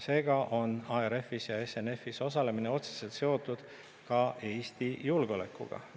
Seega on ARF-is ja SNF‑is osalemine otseselt seotud ka Eesti julgeolekuga.